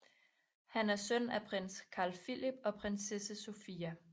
Han er søn af prins Carl Philip og prinsesse Sofia